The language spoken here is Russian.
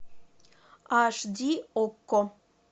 аш ди окко